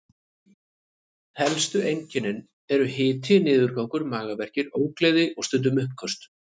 Helstu einkennin eru hiti, niðurgangur, magaverkir, ógleði og stundum uppköst.